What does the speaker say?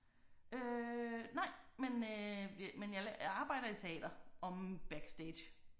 Øh nej men øh men jeg jeg arbejder i teater omme backstage